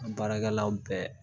Baarakɛlaw bɛɛ